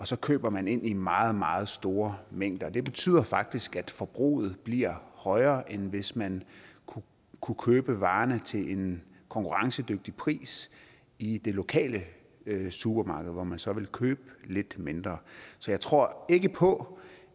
så køber man ind i meget meget store mængder det betyder faktisk at forbruget bliver højere end hvis man kunne købe varerne til en konkurrencedygtig pris i det lokale supermarked hvor man så ville købe lidt mindre så jeg tror ikke på